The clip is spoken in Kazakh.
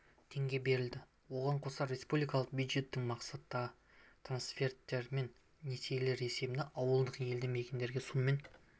теңге берілді оған қоса республикалық бюджеттің мақсатты трансферттері мен несиелері есебінен ауылдық елді мекендерде сумен